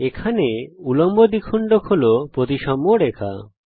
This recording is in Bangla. এখানে উল্লম্ব দ্বিখণ্ডক হল প্রতিসাম্য রেখা